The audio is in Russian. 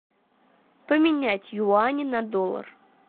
поменять юани на доллар